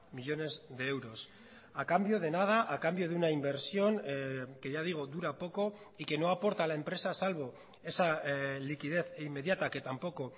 millónes de euros a cambio de nada a cambio de una inversión que ya digo dura poco y que no aporta a la empresa salvo esa liquidez inmediata que tampoco